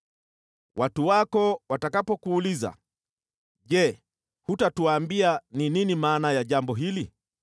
“Watu wako watakapokuuliza, ‘Je, hutatuambia ni nini maana ya jambo hili?’